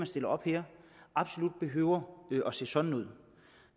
stiller op her absolut behøver at se sådan ud